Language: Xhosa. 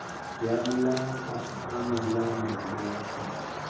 yamlahla emalanda lahla